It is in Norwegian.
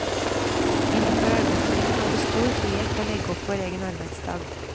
Innenfor arbeidstiden har vi stor frihet til å legge opp vår egen arbeidsdag.